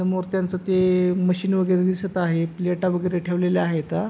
समोर त्यांच ते मशीन वेगेरे दिसत आहे प्लेटा वगैरे ठेवलेल्या आहे ता.